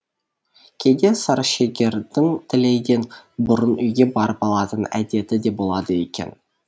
кейде сарышегірдің тілейден бұрын үйге барып алатын әдеті де болады екен